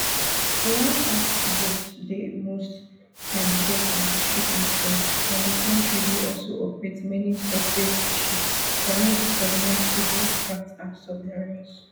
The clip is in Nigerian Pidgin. iran fast boats dey most times get antiship missiles and di kontri dey also operate many surface ships semisubmersible craft and submarines